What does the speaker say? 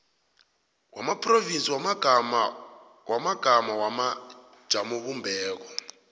wamaphrovinsi wamagama wamajamobumbeko